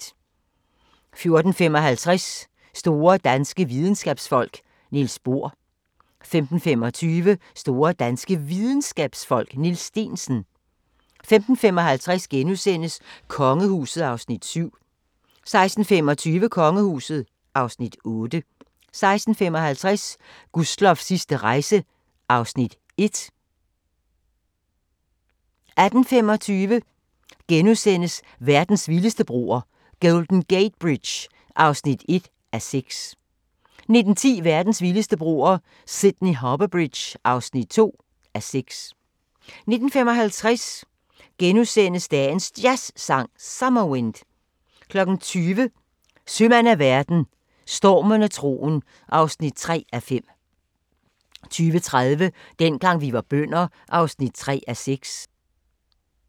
14:55: Store danske videnskabsfolk: Niels Bohr 15:25: Store danske Videnskabsfolk: Niels Steensen 15:55: Kongehuset (Afs. 7)* 16:25: Kongehuset (Afs. 8) 16:55: Gustloffs sidste rejse (Afs. 1) 18:25: Verdens vildeste broer – Golden Gate Bridge (1:6)* 19:10: Verdens vildeste broer – Sydney Harbour Bridge (2:6) 19:55: Dagens Jazzsang: Summer Wind * 20:00: Sømand af verden – Stormen og troen (3:5) 20:30: Dengang vi var bønder (3:6)